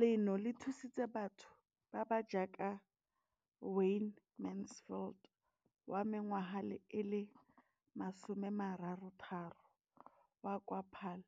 Leno le thusitse batho ba ba jaaka Wayne Mansfield, 33, wa kwa Paarl,